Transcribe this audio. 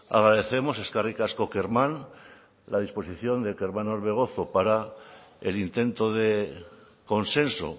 agradecemos eskerrik asko kerman la disposición de kerman orbegozo para el intento de consenso